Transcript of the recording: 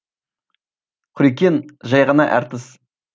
құрекең жай ғана әртіс